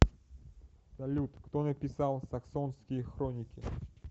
салют кто написал саксонские хроники